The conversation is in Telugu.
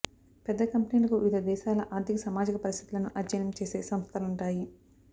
పెద్ద కంపెనీలకు వివిధ దేశాల ఆర్థిక సమాజిక పరిస్థితులను అధ్యయనం చేసే సంస్థలుంటాయి